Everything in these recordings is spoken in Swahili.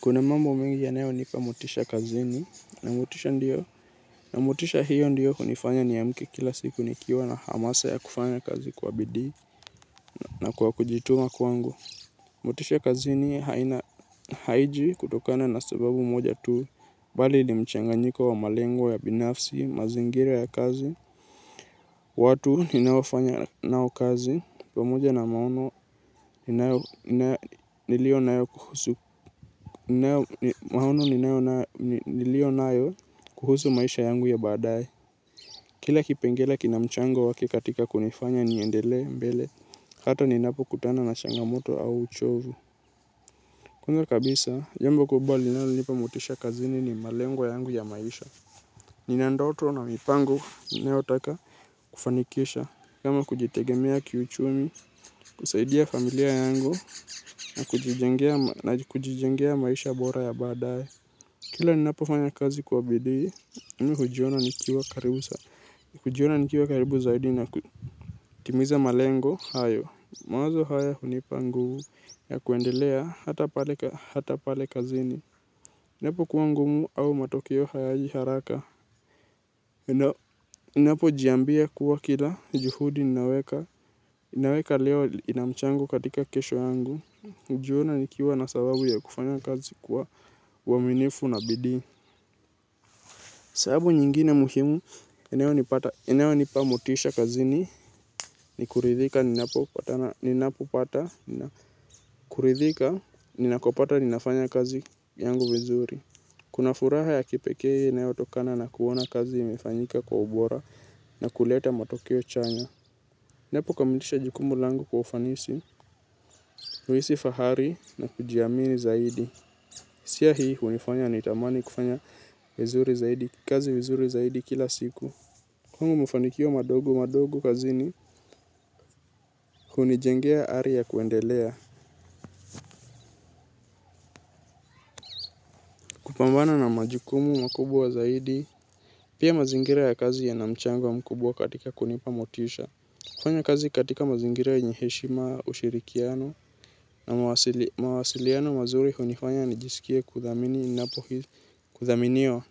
Kuna mambo mengi yanayonipa motisha kazini, na motisha hiyo ndiyo inayonifanya niamke kila siku nikiwa na hamasa ya kufanya kazi kwa bidii. Na kwa kujituma kwangu. Motisha kazini haiji kutokana na sababu moja tu, bali ni mchanganyiko wa malengo ya binafsi, mazingira ya kazi. Watu ninaofanya nao kazi, pamoja. Na maono niliyo nayo kuhusu maisha yangu ya baadaye. Kila kipengele kina mchango wake katika kunifanya niendelee mbele, hata ninapokutana na changamoto au uchovu. Kwanza kabisa, jambo kubwa linalonipa motisha kazini ni malengo yangu ya maisha. Nina ndoto na mipango ninayotaka kufanikisha, kama kujitegemea kiuchumi, kusaidia familia yangu na kujijengea maisha bora ya baadaye. Kila ninapofanya kazi kwa bidii, mimi hujiona nikiwa karibu zaidi na kutimiza malengo hayo. Mawazo haya hunipa nguvu ya kuendelea hata pale kazini. Isipokuwa ngumu au matokeo hayaji haraka. Ninapojiambia kuwa kila juhudi ninaweka. Ninaweka leo ina mchango katika kesho yangu. Hujiona nikiwa na sababu ya kufanya kazi kwa uaminifu na bidii. Sababu nyingine muhimu inayonipa motisha kazini. Ni kuridhika ninakopata, ninafanya kazi yangu mizuri. Kuna furaha ya kipekee inayotokana na kuona kazi imefanyika kwa ubora na kuleta matokeo chanya. Ninapokamilisha jukumu langu kwa ufanisi, huhisi fahari na kujiamini zaidi. Hisia hii hunifanya nitamani kufanya kazi vizuri zaidi kila siku. Kwangu, mafanikio madogo madogo kazini hunijengea ari ya kuendelea. Kupambana na majukumu makubwa zaidi, pia mazingira ya kazi yana mchango mkubwa katika kunipa motisha. Kufanya kazi katika mazingira yenye heshima, ushirikiano na mawasiliano mazuri hunifanya nijisikie kuthaminiwa.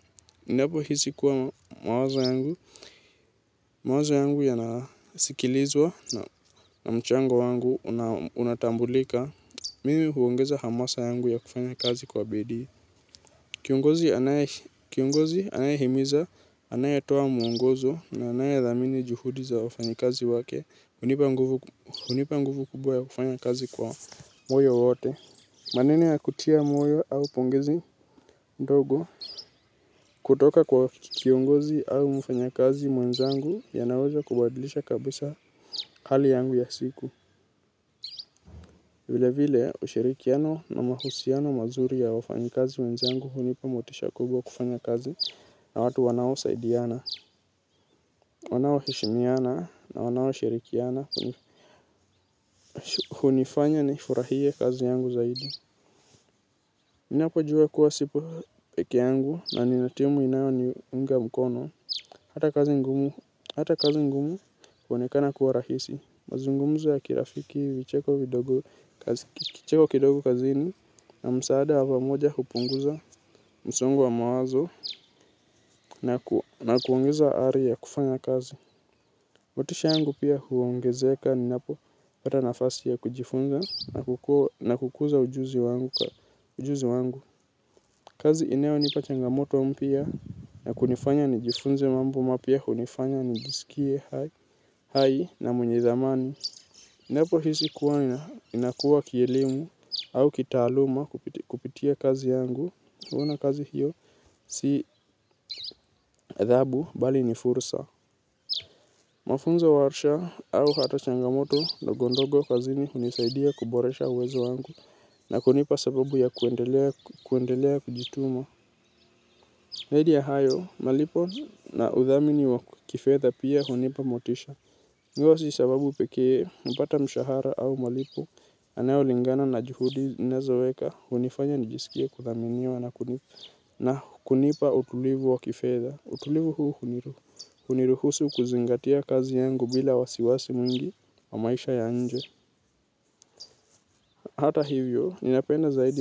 Ninapohisi kuwa mawazo yangu yanasikilizwa na mchango wangu unatambuliwa, huongeza hamasa yangu ya kufanya kazi kwa bidii. Kiongozi anayehimiza, anayetoa mwongozo na anayethamini juhudi za wafanyakazi wake hunipa nguvu kubwa ya kufanya kazi kwa moyo wote. Maneno ya kutia moyo au pongezi ndogo. Kutoka kwa kiongozi au mfanyakazi mwenzangu yanaweza kubadilisha kabisa. Hali yangu ya siku. Vilevile, ushirikiano na mahusiano mazuri ya wafanyakazi wenzangu hunipa motisha kubwa ya kufanya kazi. Na watu wanaosaidiana, wanaoheshimiana na wanaoshirikiana. Hunifanya nifurahie kazi yangu zaidi ninapojua kuwa sipo peke yangu na nina timu inayoniunga mkono. Hata kazi ngumu huonekana kuwa rahisi. Mazungumzo ya kirafiki na kicheko kidogo kazini. Na msaada wa pamoja hupunguza msongo wa mawazo na kuongeza ari ya kufanya kazi. Motisha yangu pia huongezeka ninapopata nafasi ya kujifunza na kukuza ujuzi wangu. Kazi inayonipa changamoto mpya na kunifanya nijifunze mambo mapya hunifanya nijisikie hai na mwenye thamani. Ninapohisi kuwa ninakua kielimu au kitaaluma kupitia kazi yangu. Huona kazi hiyo si adhabu, bali ni fursa. Mafunzo, warsha au hata changamoto ndogo mdogo kazini hunisaidia kuboresha uwezo wangu na kunipa sababu ya kuendelea kujituma. Zaidi ya hayo, malipo na udhamini wa kifedha pia hunipa motisha. Hiyo si sababu pekee. Napata mshahara au malipo yanayolingana na juhudi ninazoweka, hunifanya nijisikie kuthaminiwa na kunipa utulivu wa kifedha. Utulivu huu huniruhusu kuzingatia kazi yangu bila wasiwasi mwingi wa maisha ya nje. Hata hivyo, ninapenda zaidi.